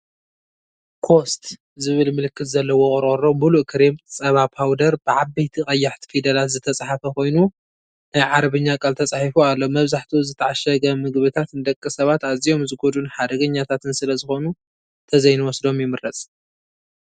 "COAST" ዝብል ምልክት ዘለዎ ቆርቆሮ ምሉእ ክሬም ጸባ ፓውደር፣ ብዓበይቲ ቀያሕቲ ፊደላት ዝተጻሕፈ ኮይኑ፡ ናይ ዓረብኛ ቃል ተጻሒፉ ኣሎ። መብዛሕትኡ ዝተዓሸገ ምግቢታት ንደቂ ሰባት ኣዝዮም ዝጎድኡን ሓደገኛታትን ስለዝኾኑ ተዘይንወስዶም ይምረፅ፡፡